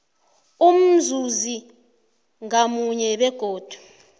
umzuzi ngamunye begodu